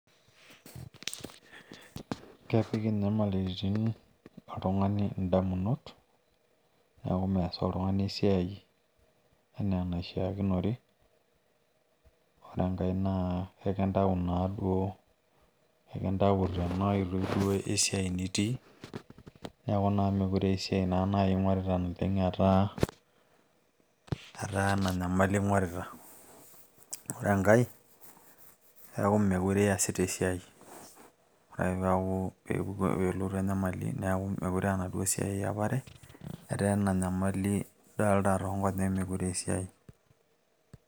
kepik inyamalitin oltungani idamunot, neeku mees oltungani esiai anaa enaishiakinore, ore enkae naa ekinyau naaduo, ekintau tena oitoi esiai nitii, neeku naa mekure aa esiai naa naai ingorita etaa ena nyamali ing'orita. ore enkae etaa meekure iyasita esiai. ore ak pee elotu enyamali, meekure aa enaduoo siai iyapare, etaa ena nyamali idoolta too nkonyek meekure aaa esiai.